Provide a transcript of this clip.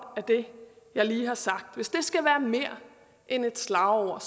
af det jeg lige har sagt skal være mere end et slagord